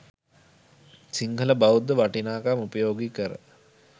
සිංහල බෞද්ධ වටිනාකම් උපයෝගි කර